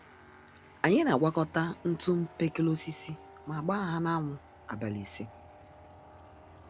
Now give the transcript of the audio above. Anyị n'àgwàkọta ntụ mkpekele-osisi ma gbáá ha na anwụ abalị ise